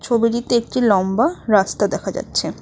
ছবিটিতে একটি লম্বা রাস্তা দেখা যাচ্ছে।